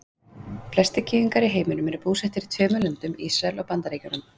Flestir gyðingar í heiminum eru búsettir í tveimur löndum, Ísrael og Bandaríkjunum.